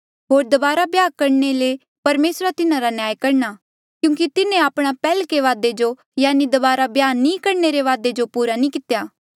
होर दबारा ब्याह करणे ले परमेसरा तिन्हारा न्याय करणा क्यूंकि तिन्हें आपणा पैहल्के वादे जो यानि दबारा ब्याह नी करणे रे वादे जो पूरा नी कितेया